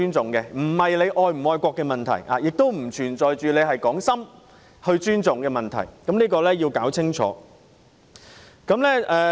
這並不涉及是否愛國的問題，也不存在是否打從心底尊重的問題，希望大家要分清楚。